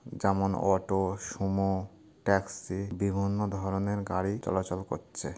যেমন auto Sumo taxi বিভিন্ন ধরনের গাড়ি চলাচল করছে।